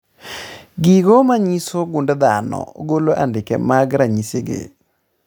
Gigo manyiso gund dhano golo andike mag ranyisi gi